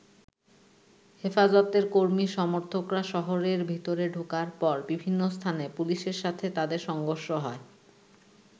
হেফাজতের কর্মী-সমর্থকরা শহরের ভেতরে ঢোকার পর বিভিন্ন স্থানে পুলিশের সাথে তাদের সংঘর্ষ হয়।